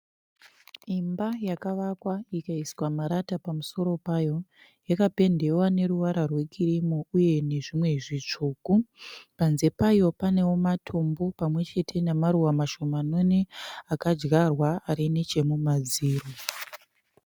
Imba yakavakwa ikaiswa marata pamusoro payo, yakapendewa neruvara rwekirimu uye nezvimwe zvitsvuku. Panze payo panewo matombo pamwe chete namaruva mashomanane akadyarwa ari neche mumadziro.